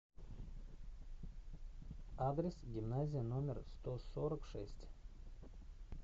адрес гимназия номер сто сорок шесть